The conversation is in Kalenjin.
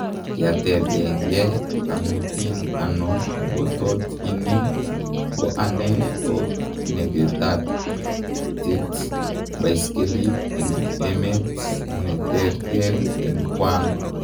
Kiatepenge ,amutin ano ngotot ini ko anee ko neketatet baiskelit en emt ne terter en kwang